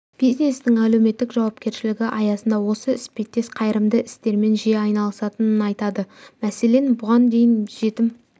бизнестің әлеуметтік жауапкершілігі аясында осы іспеттес қайырымды істермен жиі айналысатынын айтады мәселен бұған дейін жетім